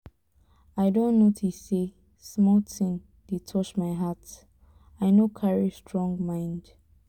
i don notice say small thing dey touch my heart i no carry strong mind